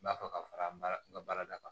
N b'a fɛ ka fara n ka baarada kan